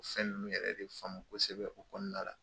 Fɛn ninnu yɛrɛ de faamu kosɛbɛ o kɔnɔna la.